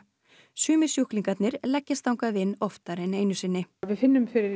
sumir sjúklingar leggjast þangað inn oftar en einu sinni við finnum fyrir